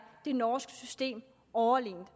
det norske system overlegent